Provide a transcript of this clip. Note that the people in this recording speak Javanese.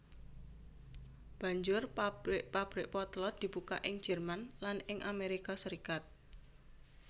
Banjur pabrik pabrik potlot dibuka ing Jerman lan ing Amerika Serikat